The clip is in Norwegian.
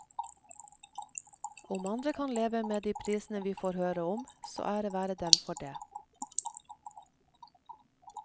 Om andre kan leve med de prisene vi får høre om, så ære være dem for det.